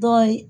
Dɔw ye